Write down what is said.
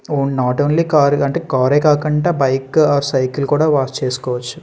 Not only car అంటే car యె కాకుండా బైక్ ఆర్ సైకిల్ కూడా వాష్ చేసుకోవచ్చు.